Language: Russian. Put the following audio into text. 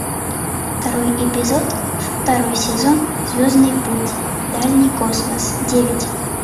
второй эпизод второй сезон звездный путь дальний космос девять